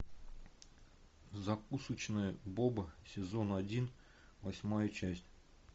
закусочная боба сезон один восьмая часть